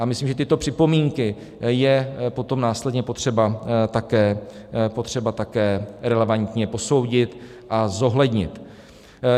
A myslím, že tyto připomínky je potom následně potřeba také relevantně posoudit a zohlednit.